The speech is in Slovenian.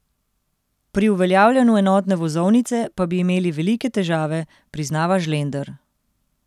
Pri uveljavljanju enotne vozovnice pa bi imeli velike težave, priznava Žlender.